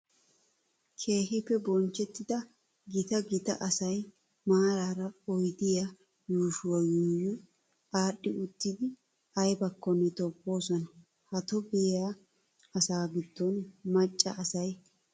Keehippe bonchchettida gita gita asayi maraara oyidiyaa yuushshuwaa yuuyyi aadhdhi uttidi ayibakkonne tobboosona. Ha tobbiyaa asaa giddon macca asayi oyidda xalla.